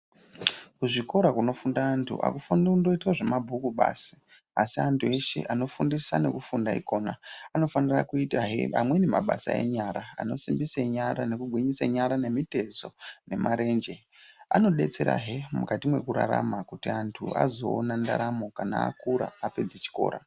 Kuzvikora kunofunda antu akufaniri kungoitwa zvemabhuku basi asi antu eshe anofundisa nekufunda ikona anofanira kuitahe amweni mabasa enyara anosimbise nyara nekugwinyise nyara, nemitezo, nemarenje. Anodetserahe mukati mwekurarama kuti vantu vazoona ndaramo kana akura apedze chikora.